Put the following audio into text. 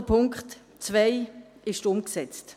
Auch der Punkt 2 ist umgesetzt.